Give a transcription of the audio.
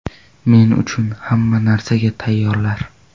Men uchun hamma narsaga tayyorlar.